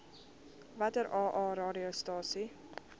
watter aa radiostasies